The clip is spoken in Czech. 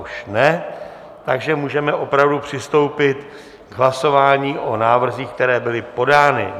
Už ne, takže můžeme opravdu přistoupit k hlasování o návrzích, které byly podány.